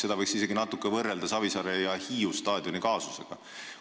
Seda võiks isegi natuke võrrelda Savisaare ja Hiiu staadioni kaasusega.